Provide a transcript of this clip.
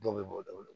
Don bɛ b'o daw bolo